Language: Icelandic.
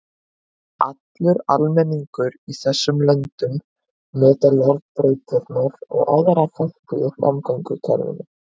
Allur almenningur í þessum löndum notar járnbrautirnar og aðra þætti í samgöngukerfinu.